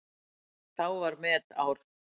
Þá var metár.